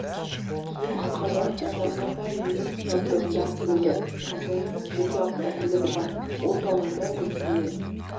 киім халықаралық стандартқа сай неміс жабдығында тігіледі компанияның жеке автокөлігі бар ол тауарды ресей мен